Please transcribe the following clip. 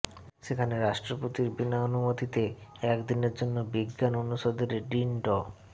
সেখানে রাষ্ট্রপতির বিনা অনুমতিতে একদিনের জন্য বিজ্ঞান অনুষদের ডিন ড